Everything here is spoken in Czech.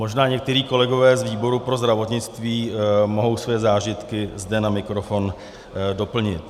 Možná někteří kolegové z výboru pro zdravotnictví mohou své zážitky zde na mikrofon doplnit.